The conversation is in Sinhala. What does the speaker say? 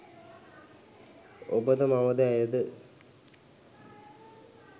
ඔබද මමද ඇයද